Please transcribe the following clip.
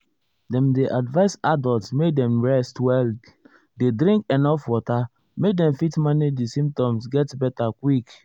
dem dey advise adults make dem rest well dey drink enuf water make dem fit manage di symptoms get beta quick.